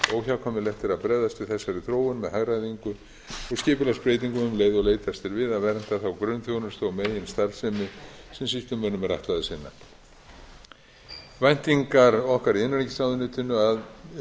óhjákvæmilegt er að bregðast við þessari þróun með hagræðingu og skipulagsbreytingum um leið og leitast er við að vernda þá grunnþjónustu og meginstarfsemi sem sýslumönnum er ætlað að sinna væntingar okkar í innanríkisráðuneytinu